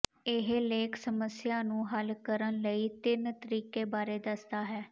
ਇਹ ਲੇਖ ਸਮੱਸਿਆ ਨੂੰ ਹੱਲ ਕਰਨ ਲਈ ਤਿੰਨ ਤਰੀਕੇ ਬਾਰੇ ਦੱਸਦਾ ਹੈ